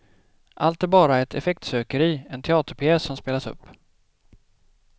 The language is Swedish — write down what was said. Allt är bara ett effektsökeri, en teaterpjäs som spelas upp.